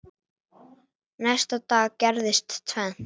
Næsta dag gerðist tvennt.